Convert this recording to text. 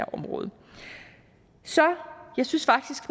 området jeg synes faktisk